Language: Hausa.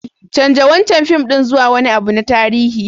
Canza wancan fim ɗin zuwa wani abu na tarihi.